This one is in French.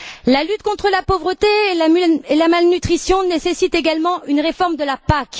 La lutte contre la pauvreté et la malnutrition nécessite également une réforme de la PAC.